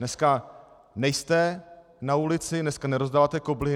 Dneska nejste na ulici, dneska nerozdáváte koblihy.